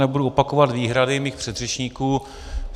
Nebudu opakovat výhrady svých předřečníků.